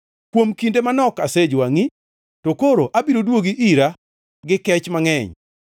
“Kuom kinde manok asejwangʼi, to koro abiro duogi ira gi kech mangʼeny.